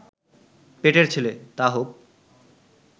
পেটের ছেলে, তা হোক